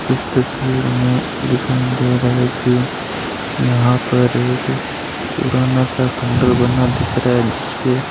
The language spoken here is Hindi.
इस तस्वीर में दिखाई दे रहा है कि यहां पर एक पुराना सा खंडहर बना दिख रहा है जिसके --